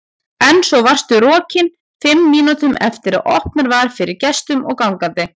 En svo varstu rokin fimm mínútum eftir að opnað var fyrir gestum og gangandi.